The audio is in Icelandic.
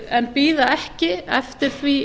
en bíða ekki eftir því